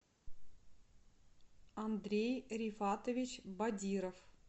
андрей рифатович бадиров